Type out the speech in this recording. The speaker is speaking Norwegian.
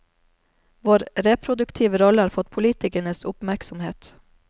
Vår reproduktive rolle har fått politikernes oppmerksomhet.